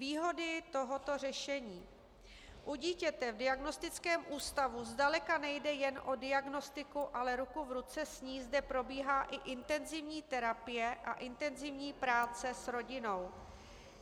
Výhody tohoto řešení: U dítěte v diagnostickém ústavu zdaleka nejde jen o diagnostiku, ale ruku v ruce s ní zde probíhá i intenzivní terapie a intenzivní práce s rodinou.